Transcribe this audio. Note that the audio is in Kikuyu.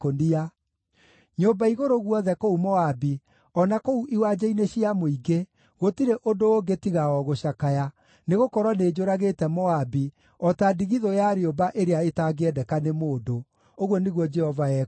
Nyũmba-igũrũ guothe kũu Moabi, o na kũu iwanja-inĩ cia mũingĩ, gũtirĩ ũndũ ũngĩ tiga o gũcakaya, nĩgũkorwo nĩnjũragĩte Moabi o ta ndigithũ ya rĩũmba ĩrĩa ĩtangĩendeka nĩ mũndũ,” ũguo nĩguo Jehova ekuuga.